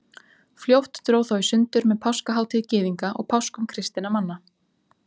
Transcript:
Fljótt dró þó í sundur með páskahátíð Gyðinga og páskum kristinna manna.